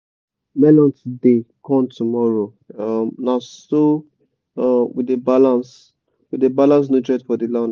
melon today corn tomorrow um na so um we dey balance we dey balance nutrient for the land.